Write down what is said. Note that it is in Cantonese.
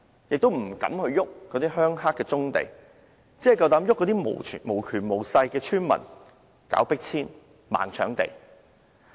政府亦不敢碰涉及"鄉黑"的棕地，只敢碰那些無權無勢的村民，搞迫遷、"盲搶地"。